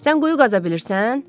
Sən quyu qaza bilirsən?